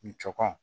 Ni cɔkɔn